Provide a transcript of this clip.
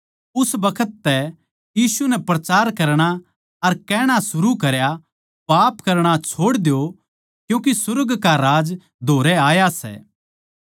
उस बखत तै यीशु नै प्रचार करणा अर कहणा शुरु करया पाप करणा छोड़ द्यो क्यूँके सुर्ग का राज्य धोरै आया सै